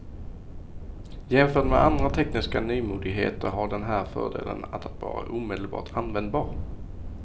Jämförd med andra tekniska nymodigheter har den här fördelen att vara omedelbart användbar.